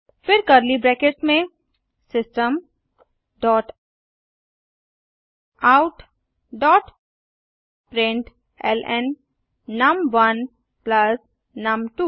फिर curly brackets में system dot out dot println num one plus नुम2